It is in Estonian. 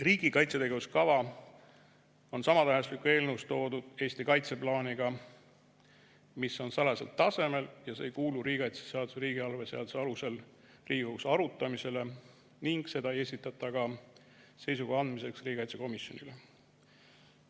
Riigi kaitsetegevuse kava on samatähenduslik eelnõus toodud Eesti kaitseplaaniga, mis on salajasel tasemel ega kuulu riigikaitseseaduse ja riigieelarve seaduse alusel Riigikogus arutamisele ning seda ei esitata ka seisukoha andmiseks riigikaitsekomisjonile.